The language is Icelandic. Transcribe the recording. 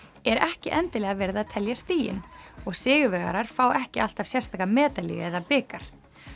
er ekki endilega verið að telja stigin og sigurvegarar fá ekki alltaf sérstaka medalíu eða bikar